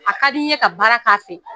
A ka di n ye ka baara k'a fɛ.